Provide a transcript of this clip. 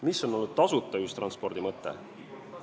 Mis on olnud tasuta ühistranspordi mõte?